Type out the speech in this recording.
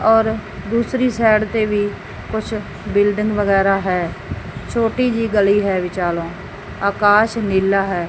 ਔਰ ਦੂਸਰੀ ਸਾਈਡ ਤੇ ਵੀ ਕੁਛ ਬਿਲਡਿੰਗ ਵਗੈਰਾ ਹੈ ਛੋਟੀ ਜਿਹੀ ਗਲੀ ਹੈ ਵਿਚਾਲੋ ਆਕਾਸ਼ ਨੀਲਾ ਹੈ।